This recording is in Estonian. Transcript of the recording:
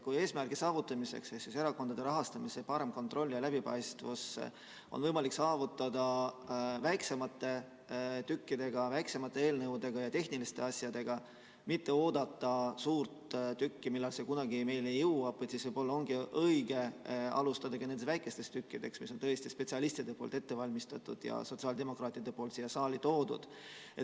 Kui eesmärki, erakondade rahastamise paremat kontrolli ja läbipaistvust, on võimalik saavutada väiksemate tükkidega, väiksemate eelnõudega ja tehniliste asjadega, mitte oodates suurt tükki, seda, millal see kunagi meieni jõuab, siis võib-olla ongi õige alustada nendest väikestest tükkidest, mis on spetsialistidel ette valmistatud ja sotsiaaldemokraatidel siia saali toodud.